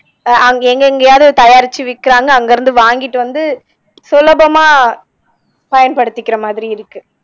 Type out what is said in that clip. அ எங்கெங்கயாவது தயாரிச்சு விக்கிறாங்க அங்க இருந்து வாங்கிட்டு வந்து சுலபமா பயன்படுத்திக்கிற மாதிரி இருக்கு